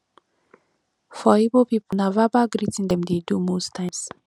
for igbo pipo na verbal greeting dem dey do most times